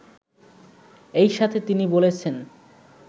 এই সাথে তিনি বলেছেন